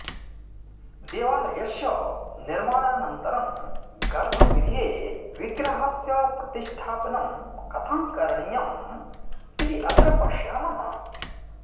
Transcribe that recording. देवालयस्य निर्माणानन्तरं गर्भगृहे विग्रहस्य प्रतिष्टापनं कथं करणीयं इति अत्र पश्यामः